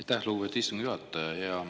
Aitäh, lugupeetud istungi juhataja!